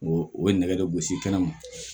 O o ye nɛgɛ de gosi kɛnɛma